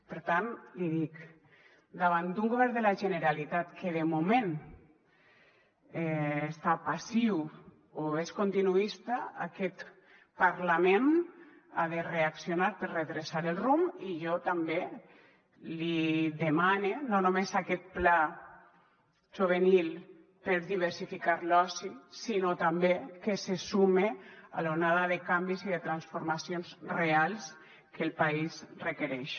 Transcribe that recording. per tant l’hi dic davant d’un govern de la generalitat que de moment està passiu o és continuista aquest parlament ha de reaccionar per redreçar el rumb i jo també li demane no només aquest pla juvenil per diversificar l’oci sinó també que se sume a l’onada de canvis i de transformacions reals que el país requereix